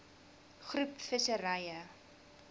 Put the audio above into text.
groep visserye